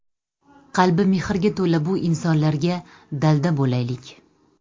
Qalbi mehrga to‘la bu insonlarga dalda bo‘laylik.